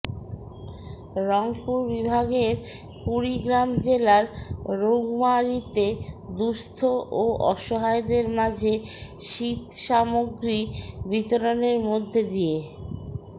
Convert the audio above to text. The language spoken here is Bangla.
রংপুর বিভাগের কুড়িগ্রাম জেলার রৌমারীতে দুঃস্থ ও অসহায়দের মাঝে শীতসমাগ্রী বিতরণের মধ্যে দিয়ে